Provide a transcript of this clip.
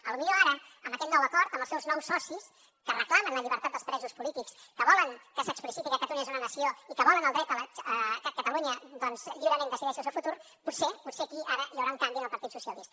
potser ara amb aquest nou acord amb els seus nous socis que reclamen la llibertat dels presos polítics que volen que s’expliciti que catalunya és una nació i que volen el dret que catalunya doncs lliurement decideixi el seu futur potser potser aquí ara hi haurà un canvi en el partit socialista